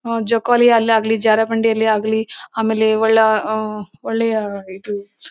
ಹಮ್ ಜೋಕಾಲಿಯಲ್ಲಾಗ್ಲಿ ಜಾರುಬಂಡಿಯಲ್ಲಾಗಲಿ ಆಮೇಲೆ ಒಳ್ಳ ಹಮ್ ಒಳ್ಳೆಯ ಇದು--